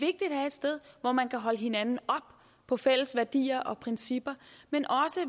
sted hvor man kan holde hinanden op på fælles værdier og principper men